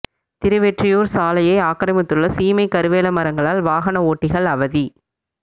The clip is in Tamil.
திருவெற்றியூா் சாலையை ஆக்கிரமித்துள்ள சீமை கருவேல மரங்களால் வாகன ஓட்டிகள் அவதி